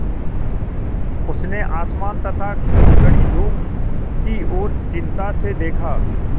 उसने आसमान तथा कड़ी धूप की ओर चिंता से देखा